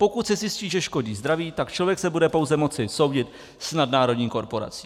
Pokud se zjistí, že škodí zdraví, tak člověk se bude pouze moci soudit s nadnárodní korporací.